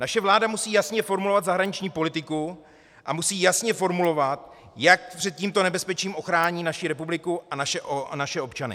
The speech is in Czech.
Naše vláda musí jasně formulovat zahraniční politiku a musí jasně formulovat, jak před tímto nebezpečím ochrání naši republiku a naše občany.